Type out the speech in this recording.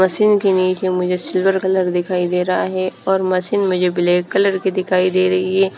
Machine के नीचे मुझे सिल्वर कलर दिखाई दे रहा है और मशीन मुझे ब्लैक कलर की दिखाई दे रही है।